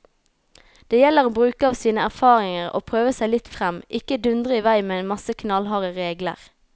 Det gjelder å bruke av sine erfaringer og prøve seg litt frem, ikke dundre i vei med en masse knallharde regler.